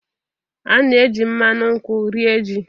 A na-eji mmanụ nkwu rie ji.